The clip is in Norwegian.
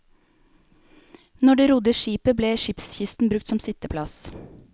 Når de rodde skipet ble skipskisten brukt som sitteplass.